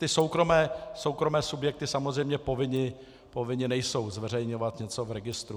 Ty soukromé subjekty samozřejmě povinny nejsou zveřejňovat něco v registru.